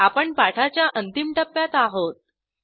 आपण पाठाच्या अंतिम टप्प्यात आहोत